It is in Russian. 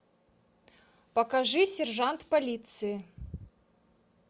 покажи сержант полиции